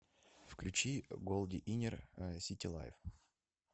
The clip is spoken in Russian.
включи голди иннер сити лайф